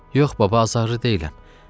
Yox, baba, azarlı deyiləm.